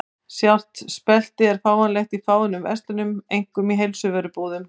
Sjálft speltið er fáanlegt í fáeinum verslunum, einkum í heilsuvörubúðum.